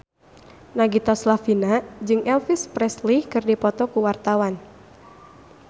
Nagita Slavina jeung Elvis Presley keur dipoto ku wartawan